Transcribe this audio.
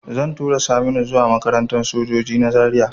Zan tura Saminu zuwa makarantar sojoji na Zaria